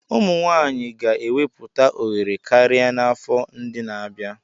Ụmụ nwanyị ga-ewepụta ohere karịa n'afọ ndị na-abịa.